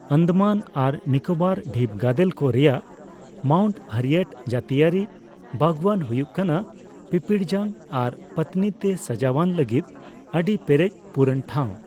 ᱟᱱᱫᱟᱢᱟᱱ ᱟᱨ ᱱᱤᱠᱳᱵᱚᱨ ᱫᱷᱤᱯᱜᱟᱫᱮᱞ ᱠᱚ ᱨᱮᱭᱟᱜ ᱢᱟᱣᱩᱱᱴ ᱦᱟᱨᱤᱭᱮᱴ ᱡᱟᱹᱛᱤᱭᱟᱹᱨᱤ ᱵᱟᱜᱚᱣᱟᱱ ᱦᱩᱭᱩᱜ ᱠᱟᱱᱟ ᱯᱤᱯᱤᱲᱡᱟᱝ ᱟᱨ ᱯᱟᱹᱛᱱᱤ ᱛᱮ ᱥᱟᱡᱟᱣᱟᱱ ᱞᱟᱹᱜᱤᱫ ᱟᱹᱰᱤ ᱯᱮᱨᱮᱡ ᱯᱩᱨᱚᱱ ᱴᱷᱟᱣ ᱾